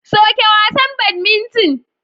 Soke wasan badminton.